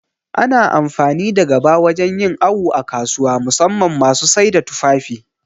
Ana amfani da gaba wajan yin awu a kasuwa, musamman ma masu saida tufafi